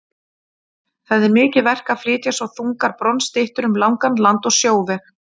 Það er mikið verk að flytja svo þungar bronsstyttur um langan land- og sjóveg.